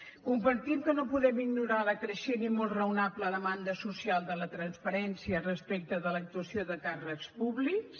compartim que no podem ignorar la creixent i molt raonable demanda social de la transparència respecte de l’actuació de càrrecs públics